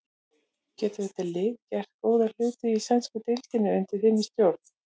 Getur þetta lið gert góða hluti í sænsku deildinni undir þinni stjórn?